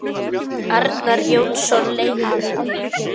Arnar Jónsson leikari